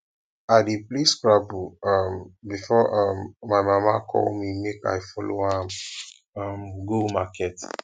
i dey play scrabble um before um before my mama call me make i follow am um go market